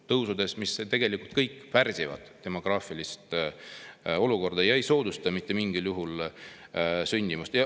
Kõik need asjad tegelikult pärsivad demograafilist olukorda ega soodusta mitte mingil juhul sündimust.